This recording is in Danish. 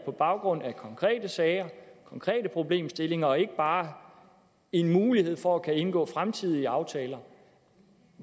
på baggrund af konkrete sager konkrete problemstillinger og ikke bare en mulighed for at kunne indgå fremtidige aftaler